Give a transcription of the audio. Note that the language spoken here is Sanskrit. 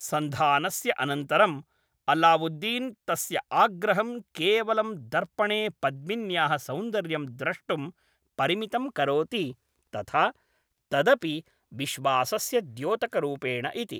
सन्धानस्य अनन्तरम् अल्लावुद्दीन् तस्य आग्रहं केवलं दर्पणे पद्मिन्याः सौन्दर्यं द्रष्टुं परिमितं करोति तथा तदपि विश्वासस्य द्योतकरूपेण इति।